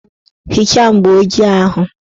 Hichaa mgbooji ahụ!